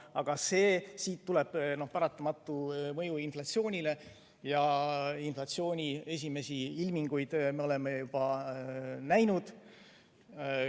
Aga siit tuleb paratamatu mõju inflatsioonile ja inflatsiooni esimesi ilminguid me oleme juba näinud.